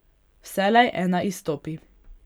Vselej ena izstopi.